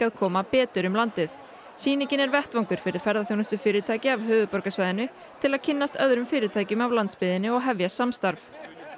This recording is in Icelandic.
koma betur um landið sýningin er vettvangur fyrir ferðaþjónustufyrirtæki af höfuðborgarsvæðinu til að kynnast öðrum fyrirtækjum af landsbyggðinni og hefja samstarf